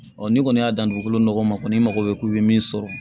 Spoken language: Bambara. n'i kɔni y'a dan dugukolo nɔgɔ ma kɔni i mago bɛ k'u bɛ min sɔrɔ